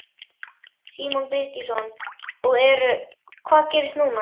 Símon Birgisson: Og eru, hvað gerist núna?